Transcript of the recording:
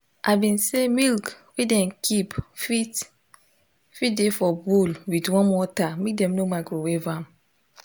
i been say milk wey dem keep fit fit de for bowl with warm water make dem no microwave am